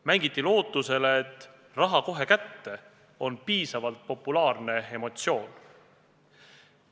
Mängiti lootusele, et "raha kohe kätte" on piisavalt populaarne loosung.